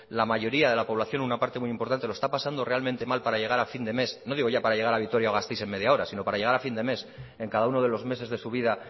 la mayoría de la población una parte muy importante lo está pasando realmente mal para llegar a fin de mes no digo ya para llegar a vitoria gasteiz en media hora sino para llegar a fin de mes en cada uno de los meses de su vida